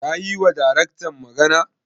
Ka yiwa Daraktan magana?